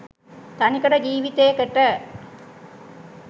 තනිකඩ ජීවිතේකට.